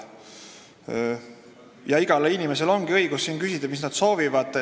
Igal inimesel ongi õigus siin küsida, mida ta soovib.